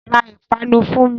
Ra ìpanu fún mi!